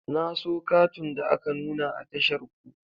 Na so katun da aka nuna a tashar ku.